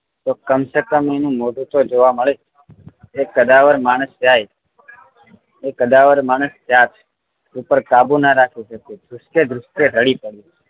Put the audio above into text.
તો કમ સે કમ એનું મોઢું તો જોવા મળે એ કદાવર માણસ જાય એ કદવાર માણસ જાત ઉપર કાબુ ના રાખી શક્યે દૃષકે દૃષકે રડી પડ્યા